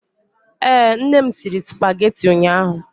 Ee, nne m siri supageti ụnyaahụ.